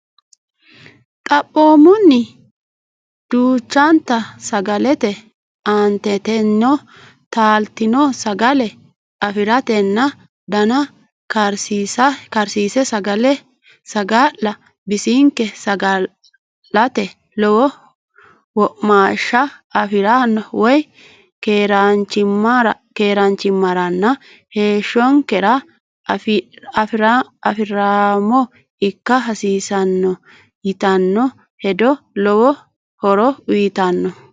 Xaphoomunni duuchanta sagalete Aanteteno taaltino sagale afi ratenna dana karsiinse saga la bisinke saga late lowo womaashsha afi ra woy keeraanchimmaranna heeshshonkera afi raamo ikka hasiissanno yitanno hedo lowo horo uytanno.